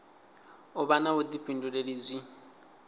u vha na vhuḓifhinduleli zwi